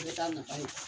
I bɛ taa nafa ye